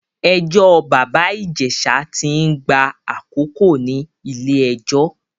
Ẹjọ́ bàbá Ìjẹ̀ṣá tí ń gba àkókò ní ilé-ẹjọ́.